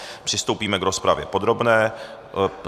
Přistoupíme k rozpravě podrobné.